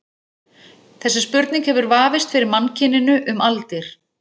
Þessi spurning hefur vafist fyrir mannkyninu um aldir.